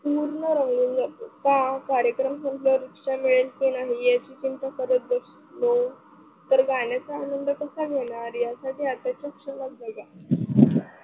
पूर्ण रंगलेले असतात का कार्यक्रम संपलावर रिक्षा मिळेल की नही याची चिंता करत बसलो तर गाण्याचा आनंद कसा घेणार यासाठी आताच्या क्षणात जगा.